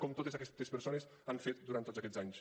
que totes aquestes persones han fet durant tots aquests anys